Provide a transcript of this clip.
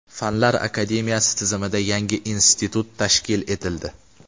Fanlar akademiyasi tizimida yangi institut tashkil etildi.